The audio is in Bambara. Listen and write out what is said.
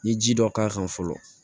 N ye ji dɔ k'a kan fɔlɔ